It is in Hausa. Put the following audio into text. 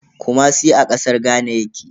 Kumasi a kasar Ghana yake.